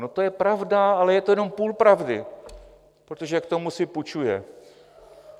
No, to je pravda, ale je to jenom půl pravdy, protože k tomu si půjčuje.